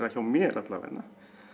hjá mér alla vega